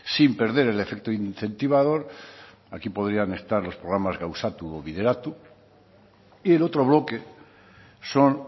sin perder el efecto incentivador aquí podrían estar los programas gauzatu o bideratu y el otro bloque son